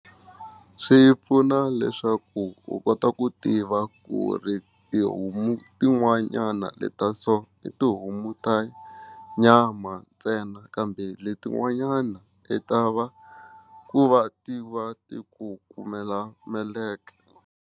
Swi pfuna leswaku u kota ku tiva ku ri tihomu tin'wanyana leta so tihomu ta nyama ntsena kambe letin'wanyana i ta va ku va tiva ti ku kumela meleke.